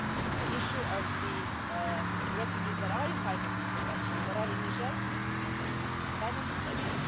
The issue of the refugees that are entitled to protection that are in Niger needs to be addressed by Member States.